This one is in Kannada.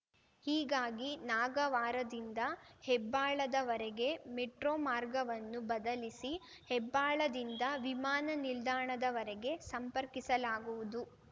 ಹೀಗಾಗಿ ನಾಗವಾರದಿಂದ ಹೆಬ್ಬಾಳದವರೆಗೆ ಮೆಟ್ರೋ ಮಾರ್ಗವನ್ನು ಬದಲಿಸಿ ಹೆಬ್ಬಾಳದಿಂದ ವಿಮಾನ ನಿಲ್ದಾಣದವರೆಗೆ ಸಂಪರ್ಕಿಸಲಾಗುವುದು